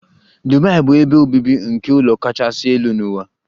Dubai bụ ebe obibi nke ụlọ kachasị elu n'ụwa.